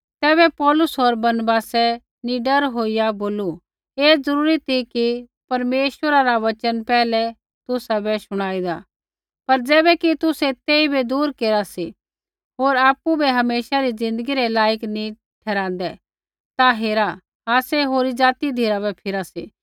तैबै पौलुस होर बरनबासै निडर होईया बोलू ऐ ज़रूरी ती कि परमेश्वरा रा वचन पैहलै तुसाबै शुणाइदा पर ज़ैबैकि तुसै तेइबै दूर केरा सी होर आपु बै हमेशा री ज़िन्दगी रै लायक नी ठहराँदै ता हेरा आसै होरी ज़ाति धिराबै फिरा सी